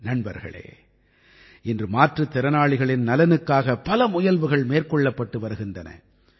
நண்பர்களே இன்று மாற்றுத்திறனாளிகளின் நலனுக்காக பல முயல்வுகள் மேற்கொள்ளப்பட்டு வருகின்றன